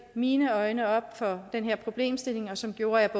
mine øjne op for den her problemstilling og som gjorde at